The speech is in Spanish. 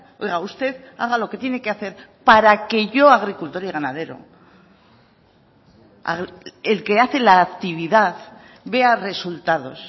oiga usted haga lo que tiene que hacer para que yo agricultor y ganadero el que hace la actividad vea resultados